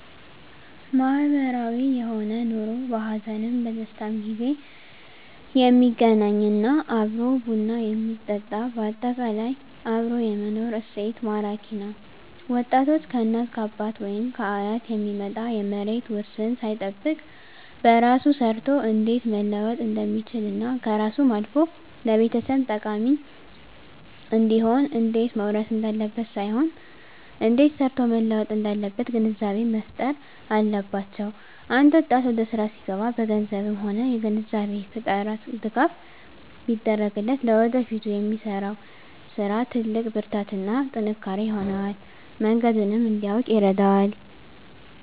ማህበራዊ የሆነ ኑሮ በሀዘንም በደስታም ጊዜ የሚገናኝ እና አብሮ ቡና የሚጠጣ በአጠቃላይ አብሮ የመኖር እሴት ማራኪ ነዉ ወጣቶች ከእናት ከአባት ወይም ከአያት የሚመጣ የመሬት ዉርስን ሳይጠብቅ በራሱ ሰርቶ እንዴት መለወጥ እንደሚችልና ከራሱም አልፎ ለቤተሰብ ጠቃሚ እንዲሆን እንዴት መዉረስ እንዳለበት ሳይሆን እንዴት ሰርቶ መለወጥ እንዳለበት ግንዛቤ መፋጠር አለባቸዉ አንድ ወጣት ወደስራ ሲገባ በገንዘብም ሆነ የግንዛቤ ፈጠራ ድጋፍ ቢደረግለት ለወደፊቱ ለሚሰራዉ ስራ ትልቅ ብርታትና ጥንካሬ ይሆነዋል መንገዱንም እንዲያዉቅ ይረዳዋል